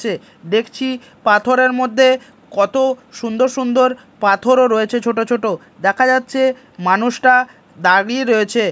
দেখছি পাথরের মধ্যে কত সুন্দর সুন্দর পাথরও রয়েছে ছোট ছোট দেখা যাচ্ছে মানুষটা দাঁড়িয়ে রয়েছে।